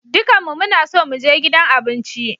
Dukanmu muna so mu je gidan abinci.